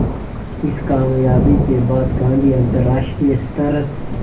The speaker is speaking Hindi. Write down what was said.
इस क़ामयाबी के बाद गांधी अंतरराष्ट्रीय स्तर